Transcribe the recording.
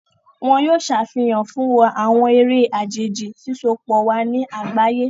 Wón yóò ṣàfihàn fún wà awọn eré àjèjì, sisopọ wà ní àgbáyé.